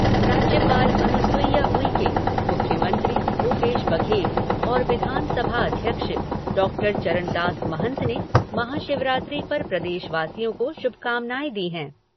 राज्यपाल अनुसुईया उइके, मुख्यमंत्री भूपेश बघेल और विधानसभा अध्यक्ष डॉक्टर चरणदास महंत ने महाशिवरात्रि पर प्रदेशवासियों को शुभकामनाएं दी हैं।